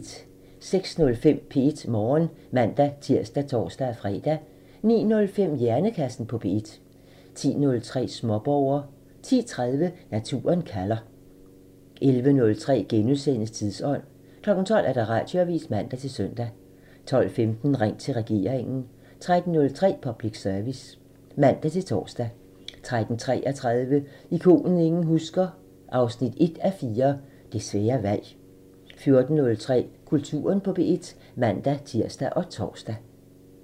06:05: P1 Morgen (man-tir og tor-fre) 09:05: Hjernekassen på P1 (man) 10:03: Småborger (man) 10:30: Naturen kalder (man) 11:03: Tidsånd *(man) 12:00: Radioavisen (man-søn) 12:15: Ring til regeringen (man) 13:03: Public Service (man-tor) 13:33: Ikonet ingen husker – 1:4 Det svære valg 14:03: Kulturen på P1 (man-tir og tor)